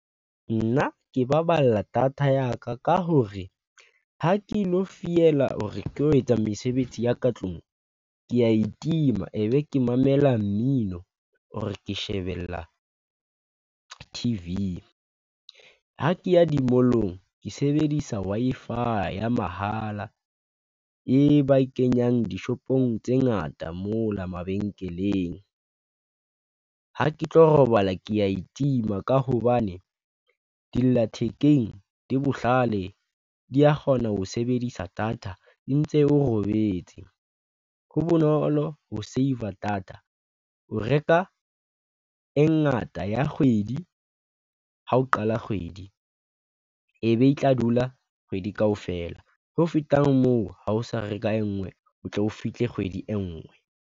Nna ke baballa data ya ka, ka hore ha ke ilo fiela or-e ke lo etsa mesebetsi ya ka tlung ke ya itima e be ke mamela mmino or-e ke shebella T_V, ha ke ya di-mall-ong ke sebedisa Wi-Fi ya mahala e ba kenyang dishopong tse ngata mola mabenkeleng. Ha ke tlo robala ke ya itima ka hobane dilla thekeng di bohlale di ya kgona ho sebedisa data e ntse o robetse. Ho bonolo ho save a data o reka e ngata ya kgwedi ha o qala kgwedi e be e tla dula kgwedi kaofela, ho feta moo, ha o sa re ka e nngwe o tle o fihle kgwedi e nngwe.